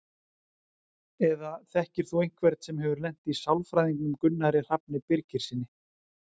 Eða þekkir þú einhvern sem hefur lent í sálfræðingnum Gunnari Hrafni Birgissyni?